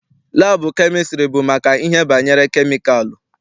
Laabụ kemịstrị bụ maka ihe banyere kemikalụ.